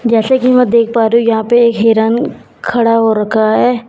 जैसे की मैं देख पा रही हूँ यहाँ पे एक हिरन खड़ा हो रखा हैं।